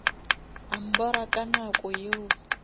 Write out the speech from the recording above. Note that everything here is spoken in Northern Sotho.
a mbora ka nako yeo